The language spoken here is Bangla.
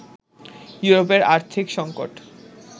ইউরোপের আর্থিক সংকট